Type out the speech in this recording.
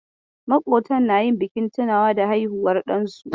Makwabtan na yin bikin tunawa da haihuwar ɗansu.